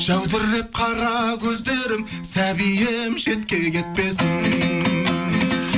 жәудіреп қара көздерім сәбиім шетке кетпесін